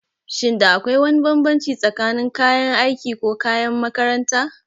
Shin da akwai wani bambanci tsakanin kayan aiki ko kayan makaranta?